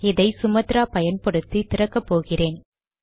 இதை சுமாத்ரா பயன்படுத்தி திறக்கப் போகிறேன்